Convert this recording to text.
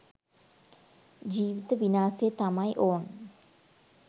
ජීවිත විනාසෙ තමයි ඔන්.